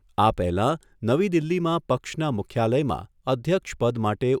આ પહેલા નવી દિલ્હીમાં પક્ષના મુખ્યાલયમાં અધ્યક્ષ પદ માટે